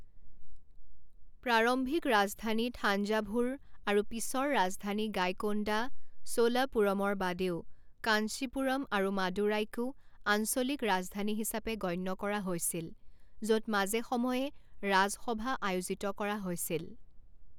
প্ৰাৰম্ভিক ৰাজধানী থাঞ্জাভুৰ আৰু পিছৰ ৰাজধানী গাইকোণ্ডা চোলাপুৰমৰ বাদেও কাঞ্চিপুৰম আৰু মাদুৰাইকো আঞ্চলিক ৰাজধানী হিচাপে গণ্য কৰা হৈছিল য'ত মাজে সময়ে ৰাজসভা আয়োজিত কৰা হৈছিল।